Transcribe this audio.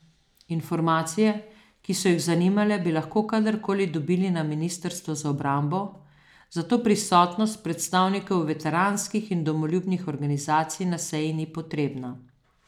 Informacije, ki so jih zanimale, bi lahko kadar koli dobili na ministrstvu za obrambo, zato prisotnost predstavnikov veteranskih in domoljubnih organizacij na seji ni potrebna.